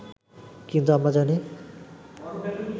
কিন্তু আমরা জানি